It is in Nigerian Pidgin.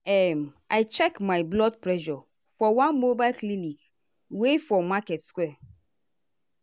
um i check my blood pressure for one mobile clinic wey for market square.